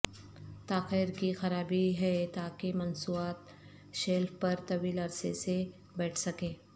تاخیر کی خرابی ہے تاکہ مصنوعات شیلف پر طویل عرصے سے بیٹھ سکیں